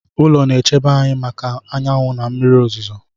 Ụlọ na-echebe anyị maka anyanwụ na mmiri ozuzo.